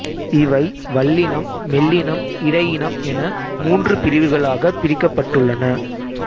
இவை வல்லினம் மெல்லினம் இடையினம் என மூன்று பிரிவுகளாகப் பிரிக்கப்பட்டுள்ளன